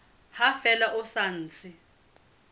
ha fela ho sa ntse